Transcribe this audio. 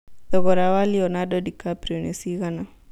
thogora wa Leonardo DiCaprio nĩ cigana